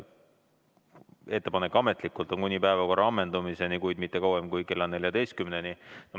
Ettepanek ametlikult on kuni päevakorra ammendumiseni, kuid mitte kauem kui kella 14-ni.